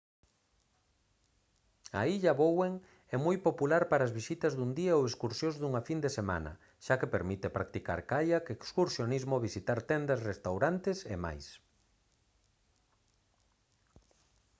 a illa bowen é moi popular para as visitas dun día ou excursións dunha fin de semana xa que permite practicar caiac excursionismo visitar tendas restaurantes e máis